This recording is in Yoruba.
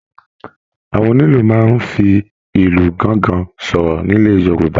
Àwọn onílù máa n fí ìlù gángan sọ̀rọ̀ nílẹ́ Yorùbá.